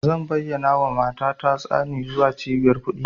Zan bayyanawa mata na tsani zuwa cibiyar kuɗi.